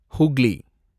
Hooghly